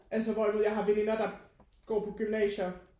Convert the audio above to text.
Altså hvorimod jeg har veninder der går på gymnasier